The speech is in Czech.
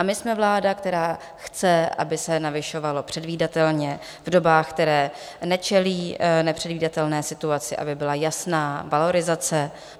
A my jsme vláda, která chce, aby se navyšovalo předvídatelně v dobách, které nečelí nepředvídatelné situaci, aby byla jasná valorizace.